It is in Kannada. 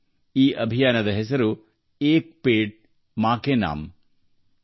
ಈ ಅಭಿಯಾನದ ಹೆಸರು - 'ಏಕ್ ಪೆಡ್ ಮಾ ಕೆ ನಾಮ್'